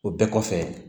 O bɛɛ kɔfɛ